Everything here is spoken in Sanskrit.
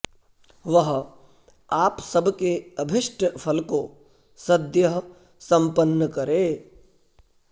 वह आप सबके अभीष्ट फल को सद्यः सम्पन्न करे